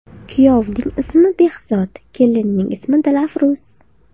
Kuyovning ismi Behzod, kelinning ismi Dilafruz.